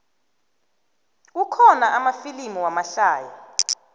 kukhona amafilimu lamahlaya